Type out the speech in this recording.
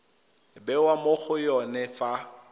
bewa mo go yone fa